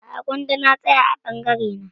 A'a gwanda na tsaya a bangare na